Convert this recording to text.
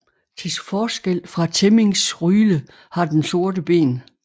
Til forskel fra temmincksryle har den sorte ben